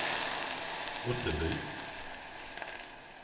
Ottenby